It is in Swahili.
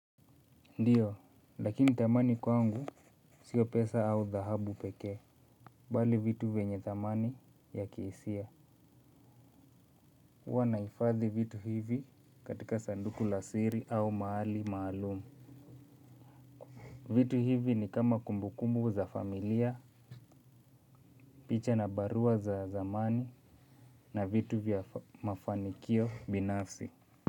Ndiyo lakini thamani kwangu sio pesa au dhahabu peke bali vitu vyenye thamani ya kihisia. Huwa na hifadhi vitu hivi katika sanduku la siri au mahali maalumu. Vitu hivi ni kama kumbukumbu za familia picha na barua za zamani na vitu vya mafanikio binafsi.